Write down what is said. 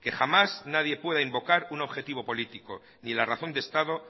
que jamás nadie pueda invocar un objetivo político ni la razón de estado